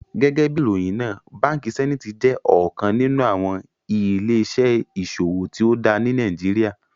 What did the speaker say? Gẹgẹbi iròyin náà, Bánkì Sẹ̀nítì jẹ́ ọkan nínu awọn ilẹ̀-iṣẹ̀ iṣòwò tío dá ní Nàìjíríà.